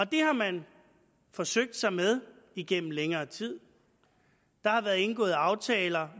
det har man forsøgt sig med igennem længere tid der har været indgået aftaler